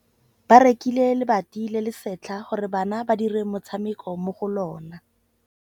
Ba rekile lebati le le setlha gore bana ba dire motshameko mo go lona.